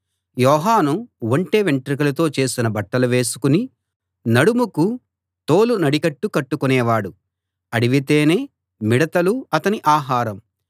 యోహాను ఒంటె వెంట్రుకలతో చేసిన బట్టలు వేసుకుని నడుముకు తోలు నడికట్టు కట్టుకునేవాడు అడవి తేనె మిడతలు అతని ఆహారం